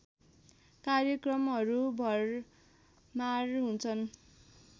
कार्यक्रमहरू भरमार हुन्छन्